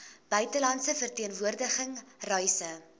buitelandse verteenwoordiging reise